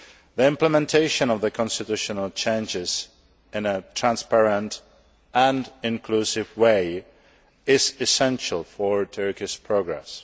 The implementation of the constitutional changes in a transparent and inclusive way is essential for Turkish progress.